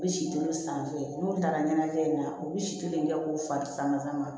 U bɛ si tolo san n'u taara ɲɛnajɛ in na u bɛ si kelen kɛ k'u fa sama ka ma